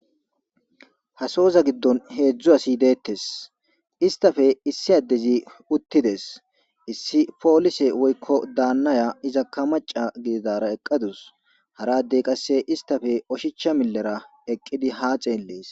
Hasooza giddon heedzdzu asi deettes istafe issi addezi uttides issi poolise woykko daannaya iza ka maca gididara eqqadus haradey qasse istafe oshicha millera eqqidi haa xeellees